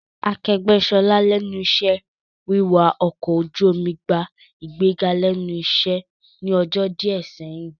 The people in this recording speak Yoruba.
Akẹgbẹ Ṣọlá lẹ́nu iṣẹ́ wiwà ọkọ̀ ojú omi gbà ìgbéga lẹ́nu iṣẹ́ ní ọjọ́ díẹ̀ sẹ́yìn